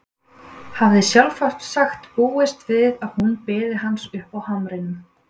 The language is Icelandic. Hafði sjálfsagt búist við að hún biði hans uppi á hamrinum.